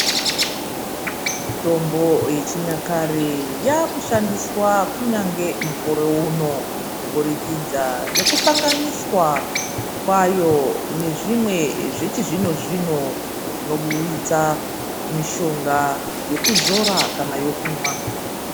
Mitombo yechinyakare yakushandiswa kunyange mukore uno kuburikidza nekuhlanganiswa kwayo nezvimwe zvechizvino zvino zvinoburitsa mishonga yekuzora kana yekumwa.